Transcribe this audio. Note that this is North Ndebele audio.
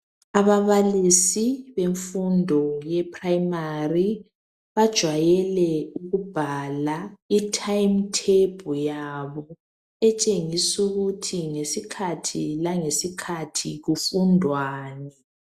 Ababalisi bemfundo ye prayimari, bajwayele ikubhala i time table yabo, etshengisukuthi ngesikhathi langesikhathi kufundwani.